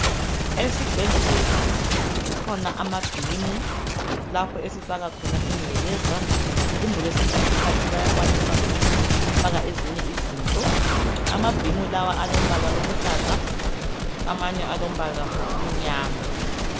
Esibhedlela kukhona amabhimu lapho esifaka khona ingcekeza kumbe kwesinye isikhathi bayakwanisa ukufaka ezinye izinto. Amabhimu lawa alombala oluhlaza amanye alombala omnyama